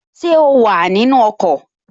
Ṣé o wà nínu ọkọ̀?